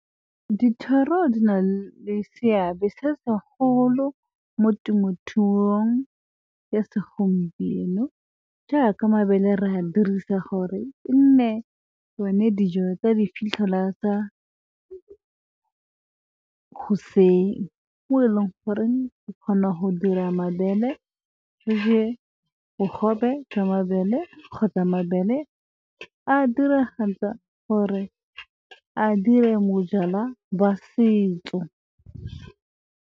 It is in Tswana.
Dithoro di na le seabe se segolo mo temothuong ya segompieno, jaaka mabele re a dirisa gore e nne yone dijo tsa di fitlhela tsa goseng. Mo e leng gore re kgona go dira mabele re je bogobe jwa mabele, kgotsa mabele a diragatsa gore a dire bojalwa ba setso.